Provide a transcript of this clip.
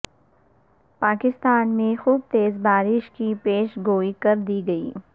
پاکستان میں خوب تیز بارشوں کی پیشگوئی کر دی گئی